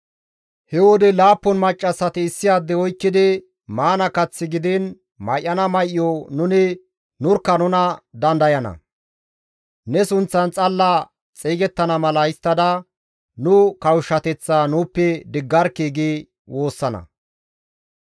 He wode laappun maccassati issi adde oykkidi, «Maana kath gidiin may7ana may7o nuni nurkka nuna dandayana; ne sunththan xalla xeygettana mala histtada nu kawushshateththaa nuuppe diggarkkii!» gi woossana.